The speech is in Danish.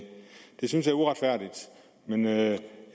det synes jeg er uretfærdigt men jeg